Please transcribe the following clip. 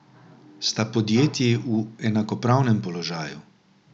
Sta podjetji v enakopravnem položaju?